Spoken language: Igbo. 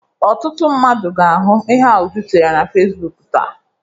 Ọtụtụ mmadụ ga-ahụ ihe a Uju tinyere na Fesibuuku taa.